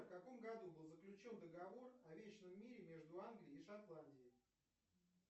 в каком году был заключен договор о вечном мире между англией и шотландией